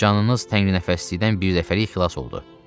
Canınız təngnəfəslikdən bir dəfəlik xilas oldu.